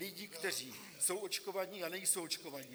Lidi, kteří jsou očkovaní, a nejsou očkovaní.